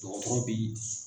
Dɔgɔtɔrɔ bɛ